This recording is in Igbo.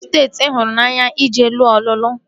Kedụ steeti ị hụrụ n'anya ije lụọ ọlụlụ?